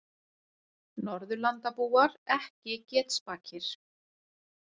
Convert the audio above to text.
Norðurlandabúar ekki getspakir